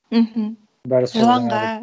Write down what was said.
мхм жыланға